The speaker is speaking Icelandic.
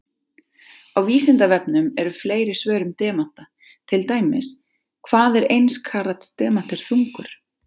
Á Vísindavefnum eru fleiri svör um demanta, til dæmis: Hvað er eins karats demantur þungur?